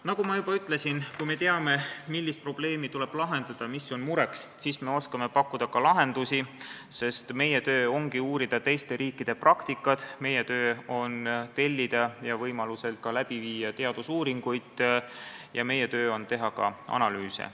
Nagu ma juba ütlesin, kui me teame, millist probleemi tuleb lahendada, mis on mureks, siis me oskame pakkuda ka lahendusi, sest meie töö ongi uurida teiste riikide praktikat, meie töö on tellida ja võimalusel läbi viia teadusuuringuid ja meie töö on teha ka analüüse.